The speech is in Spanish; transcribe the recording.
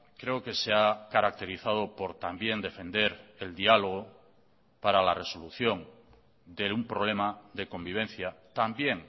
creo que se ha caracterizado por también defender el diálogo para la resolución de un problema de convivencia también